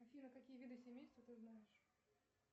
афина какие виды семейства ты знаешь